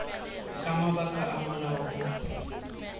ka mabaka a molao o